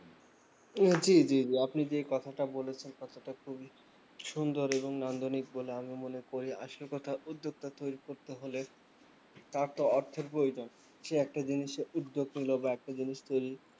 হম জি জি জি আপনি যেই কথাটা বলেছেন তাতে তো খুবই সুন্দর এবং আন্দনিক বলে আমি মনে করি আসল কথা উদ্যোক্তা তৈরী করতে হলে তারতো অর্থের প্রয়জোন সে একটা জিনিসে উদ্যোগ নিলো বা একটা জিনিস তৈরী